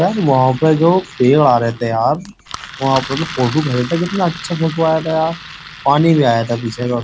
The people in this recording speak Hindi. वहां पर जो पेड़ आ रहे थे यार वहां पर फोटो ख था कितना अच्छा फोटो आया था यार पानी भी आया था पीछे का --